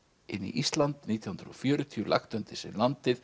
inn í Ísland nítján hundruð og fjörutíu lagt undir sig landið